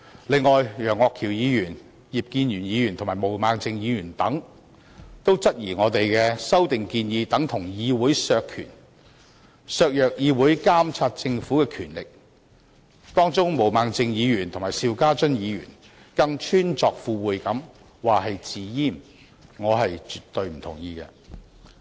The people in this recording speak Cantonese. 此外，楊岳橋議員、葉建源議員、毛孟靜議員等質疑我們的修訂建議等同議會削權、削弱議會監察政府的權力，當中毛孟靜議員和邵家臻議員更穿鑿附會地說成是"自閹"，我絕對不同意他們的說法。